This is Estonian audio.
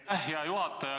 Aitäh, hea juhataja!